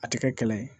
A tɛ kɛ kɛlɛ ye